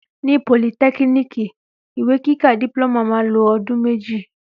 Ní pólìtẹkínìkí, ìwé kíkà diploma ma lo odun méjì